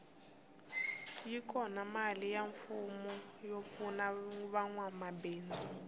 yi kona mali ya mfumo yo pfuna vanwa mabindzu